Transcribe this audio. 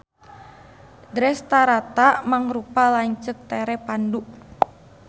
Drestarata mangrupa lanceuk tere Pandu.